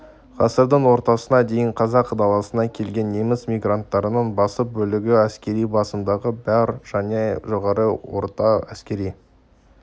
ғасырдың ортасына дейін қазақ даласына келген неміс мигранттарының басым бөлігі әскери басымдығы бар және жоғары және орта әскери